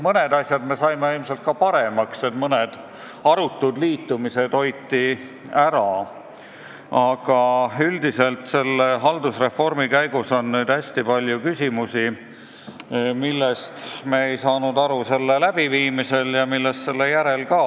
Mõned asjad saime ilmselt paremaks, mõned arutud liitumised hoiti ära, aga üldiselt on selle haldusreformi käigus tekkinud hästi palju küsimusi, millest me ei ole aru saanud ei reformi ajal ega ka selle järel.